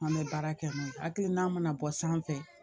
An bɛ baara kɛ n'o ye hakilina mana bɔ sanfɛ